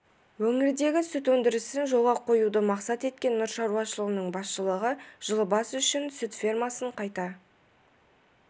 өңірдегі сүт өндірісін жолға қоюды мақсат еткен нұр шаруашылығының басшылығы жылы бас үшін сүт фермасын қайта